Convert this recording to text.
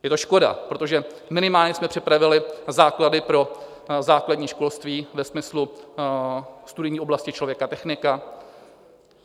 Je to škoda, protože minimálně jsme připravili základy pro základní školství ve smyslu studijní oblasti člověka, technika.